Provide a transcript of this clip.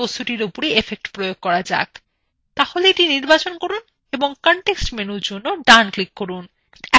তাহলে এটি নির্বাচন করুন এবং context menuর জন্য ডানclick করুন এখন নির্বাচন করুন 3d effects